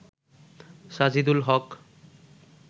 Sajidul Haque